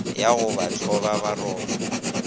ya go ba hloba boroko